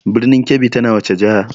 Birnin Kebbi tana wace jiha?